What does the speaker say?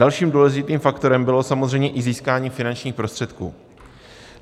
Dalším důležitým faktorem bylo samozřejmě i získání finančních prostředků.